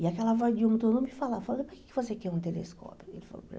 E aquela voz de um, todo mundo me falava, por que você quer um telescópio? Ele falou para mim